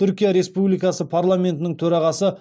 түркия республикасы парламентінің төрағасы